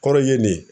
Kɔrɔ ye nin